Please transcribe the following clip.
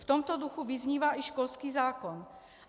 V tomto duchu vyznívá i školský zákon.